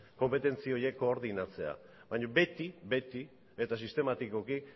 konpetentzi horiek koordinatzea baina beti beti eta sistematikoki